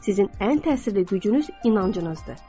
Sizin ən təsirli gücünüz inancınızdır.